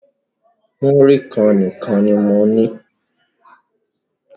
Múrí kan nìkan ní mo ní.